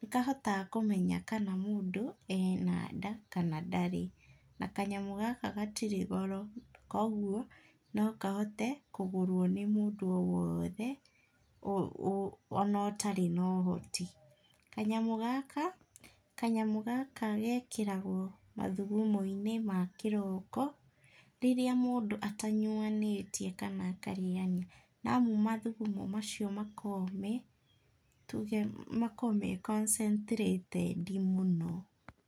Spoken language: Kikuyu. nĩkahotaga kũmenya kana mũndũ ena nda kana ndarĩ na kanyamũ gaka gatirĩ goro, kũguo no kahote kũgũrwo nĩ mũndũ o wothe ona ũtarĩ na ũhoti, kanyamũ gaka, kanyamũ gaka gekĩragwo mathũgũmo-inĩ ma kĩroko rĩrĩa mũndũ ata nyuanĩtie kana akarĩania na amu mathũgũmo macio, makoragwo me tũge makoragwo me concetrated mũno.